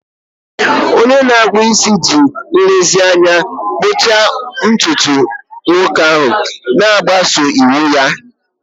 Onye na-akpụ isi ji nlezianya kpụchaa ntutu nwoke ahụ, na-agbaso iwu ya.